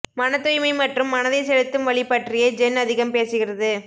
மனத்தூய்மை மற்றும் மனதை செலுத்தும் வழி பற்றியே ஜென் அதிகம் பேசுகிறது